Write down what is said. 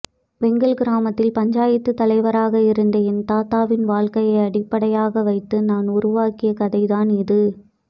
வெங்கல் கிராமத்தில் பஞ்சாயத்து தலைவராக இருந்த என் தாத்தாவின் வாழக்கையை அடிப்படையாக வைத்து நான் உருவாக்கிய கதைதான் இது